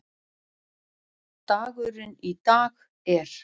Dagurinn í dag er.